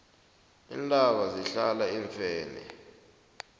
iintaba zihlala iimfene